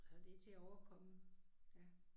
Og det til at overkomme ja